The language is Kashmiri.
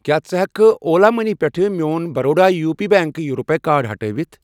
کیٛاہ ژٕ ہٮ۪کہٕ کھہ اولا مٔنی پٮ۪ٹھٕ میون Baroda U P bank RuPay card ہٹٲوِتھ ؟